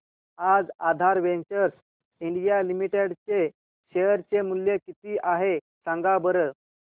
आज Aadhar ventures India limited चे share चे मूल्य किती आहे सांगा बरं